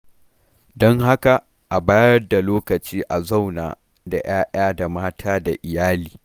Don haka, a bayar da lokaci a zauna da 'ya'ya da mata da iyali.